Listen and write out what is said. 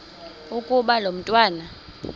ukuba lo mntwana